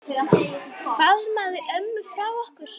Faðmaðu ömmu frá okkur.